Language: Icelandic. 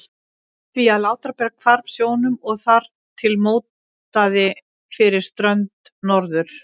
því að Látrabjarg hvarf sjónum og þar til mótaði fyrir strönd Norður-